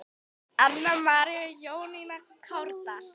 Anna María og Jónína Kárdal.